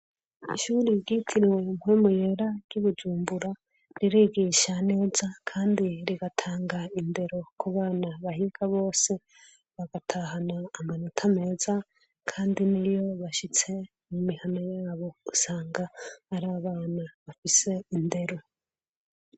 Ishuri ryitiriwe Mpwemu Yera ry'i Bujumbura ririgisha neza kandi rigatanga indero ku bana bahiga bose bagatahana amanota meza, kandi niyo bashitse mu mihana yabo usanga ari abana bafise indero.